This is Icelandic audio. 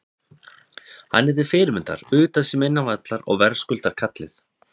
Hann er til fyrirmyndar utan sem innan vallar og verðskuldar kallið.